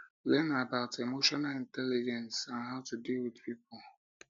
learn about emotional intelligence and how to deal with pipo